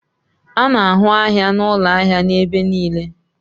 A na-ahụ ahịa na ụlọ ahịa n'ebe niile.